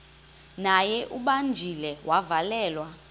naye ubanjiwe wavalelwa